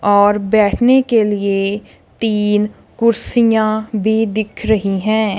और बैठने के लिए तीन कुर्सियां भी दिख रही है।